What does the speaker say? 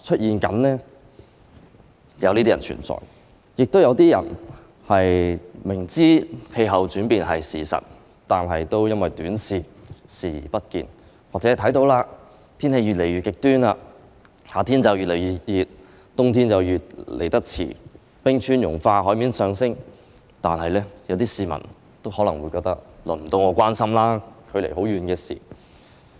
另外，亦有些人明知氣候變化是事實，但因為短視，視而不見，又或有些市民看到天氣越來越極端，夏天越來越熱，冬天來得越來越遲，冰川融化、海面上升，但仍可能覺得用不着他們擔心，那是距離自己很遠的事。